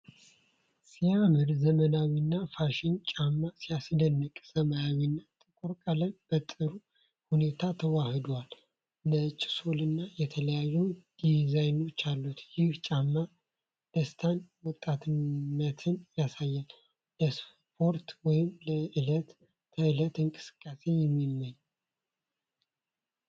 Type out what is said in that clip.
ሲያምር! ዘመናዊና ፋሽን ጫማ! ሲያስደንቅ! ሰማያዊና ጥቁር ቀለም በጥሩ ሁኔታ ተዋህደዋል። ነጭ ሶልና የተለያዩ ዲዛይኖች አሉት። ይህ ጫማ ደስታንና ወጣትነትን ያሳያል። ለስፖርት ወይም ለዕለት ተዕለት እንቅስቃሴ የሚመች!